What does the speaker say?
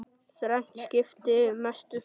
Þrennt skipti mestu.